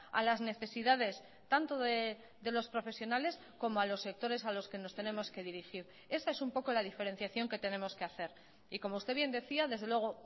a las necesidades tanto de los profesionales como a los sectores a los que nos tenemos que dirigir esa es un poco la diferenciación que tenemos que hacer y como usted bien decía desde luego